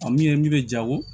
A min ye min bɛ ja wo